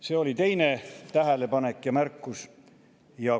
See oli teine tähelepanek ja märkus.